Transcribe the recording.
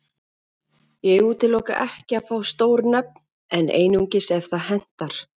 Ég útiloka ekki að fá stór nöfn en einungis ef það hentar.